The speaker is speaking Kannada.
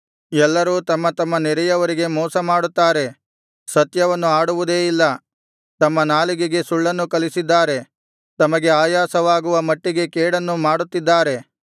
ಎಲ್ಲರೂ ತಮ್ಮ ತಮ್ಮ ನೆರೆಯವರಿಗೆ ಮೋಸಮಾಡುತ್ತಾರೆ ಸತ್ಯವನ್ನು ಆಡುವುದೇ ಇಲ್ಲ ತಮ್ಮ ನಾಲಿಗೆಗೆ ಸುಳ್ಳನ್ನು ಕಲಿಸಿದ್ದಾರೆ ತಮಗೆ ಆಯಾಸವಾಗುವ ಮಟ್ಟಿಗೆ ಕೆಡುಕನ್ನು ಮಾಡುತ್ತಿದ್ದಾರೆ